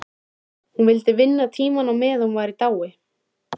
Hún vildi vinna tíma á meðan hann var í dái.